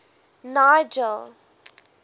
nigel